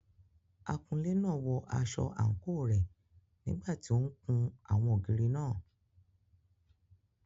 Akunlé náà wọ aṣọ àǹkóò rẹ̀ nígbà tí ó ń kun àwọn ògiri náà.